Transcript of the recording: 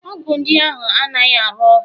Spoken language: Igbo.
Ọgwụ ndị ahụ anaghị arụ ọrụ?